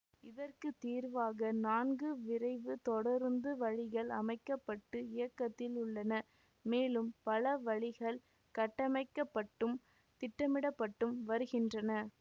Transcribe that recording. இதற்கு தீர்வாக நான்கு விரைவுத் தொடருந்து வழிகள் அமைக்க பட்டு இயக்கத்தில் உள்ளன மேலும் பல வழிகள் கட்டமைக்கப்பட்டும் திட்டமிடப்பட்டும் வருகின்றன